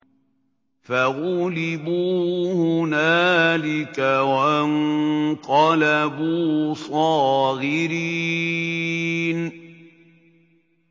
فَغُلِبُوا هُنَالِكَ وَانقَلَبُوا صَاغِرِينَ